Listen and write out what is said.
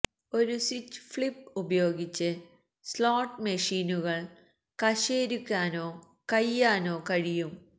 ഒരു switch flip ഉപയോഗിച്ച് slot മെഷീനുകൾ കശേരുക്കാനോ കയ്യാനോ കഴിയും